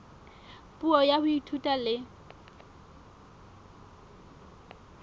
puo ya ho ithuta le